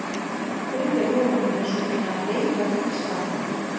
Þriðja tegundin er svokallaðar veikar víxlverkanir.